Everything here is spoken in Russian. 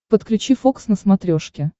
подключи фокс на смотрешке